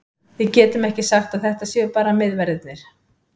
Við getum ekki sagt að þetta séu bara miðverðirnir.